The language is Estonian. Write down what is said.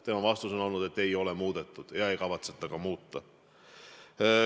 Tema vastus on oli, et ei ole muudetud ega kavatseta ka muuta.